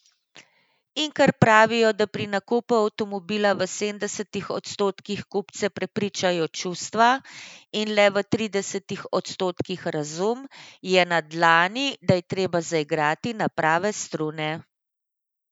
In ker pravijo, da pri nakupu avtomobila v sedemdesetih odstotkih kupce prepričajo čustva in le v tridesetih odstotkih razum, je na dlani, da je treba zaigrati na prave strune.